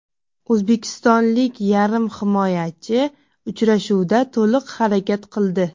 O‘zbekistonlik yarim himoyachi uchrashuvda to‘liq harakat qildi.